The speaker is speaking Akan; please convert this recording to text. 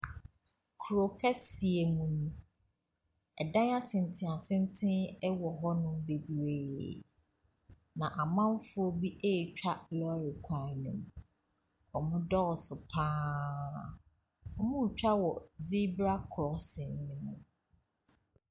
Kurokɛseɛ mu nie. Dan atenten atenten wɔ hɔnom bebree, na amanfoɔ bi retwa lɔɔre kwan mu. Wɔdɔɔso pa ara. Wɔretwa wɔ zebra crossing no mu.